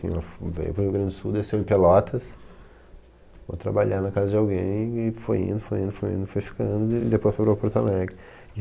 Ela veio para o Rio Grande do Sul, desceu em Pelotas, foi trabalhar na casa de alguém e foi indo, foi indo foi indo , foi ficando e depois foi para o Porto Alegre.